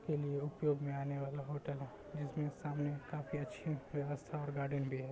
ये न्यू उपयोग में आने वाला होटल है जिसमे सामने काफी अच्छा व्यवस्था और गार्डेन भी है। --